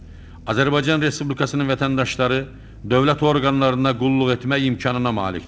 Azərbaycan Respublikasının vətəndaşları dövlət orqanlarına qulluq etmək imkanına malikdir.